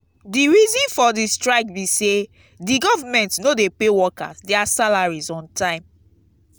di reason for di strike be say di government no dey pay workers dia salaries on time.